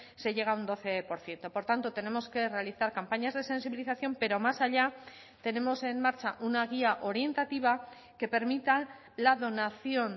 se llega un doce por ciento por tanto tenemos que realizar campañas de sensibilización pero más allá tenemos en marcha una guía orientativa que permita la donación